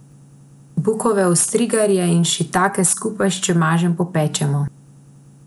Bukove ostrigarje in šitake skupaj s čemažem popečemo.